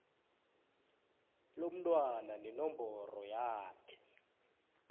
lomntwana nenomboro yakhe